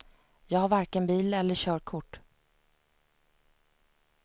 Jag har varken bil eller körkort.